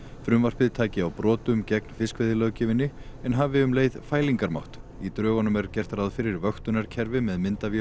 frumvarpið taki á brotum gegn fiskveiðilöggjöfinni en hafi um leið fælingarmátt í drögunum er gert ráð fyrir vöktunarkerfi með myndavélum